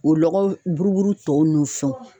O lɔgɔ buruburu tɔw n'u fɛnw